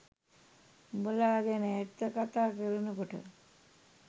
උඹලා ගැන ඇත්ත කතා කරනකොට